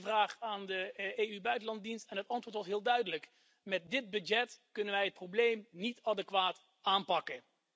Ik stelde die vraag aan de EU buitenlanddienst en het antwoord was heel duidelijk met dit budget kunnen wij het probleem niet adequaat aanpakken.